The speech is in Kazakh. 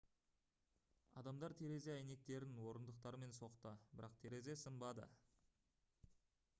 адамдар терезе әйнектерін орындықтармен соқты бірақ терезе сынбады